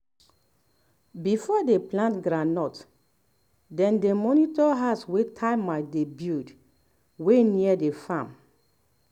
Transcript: before dey plant groundnut dey dey monitor house wey termite dey build wey near the farm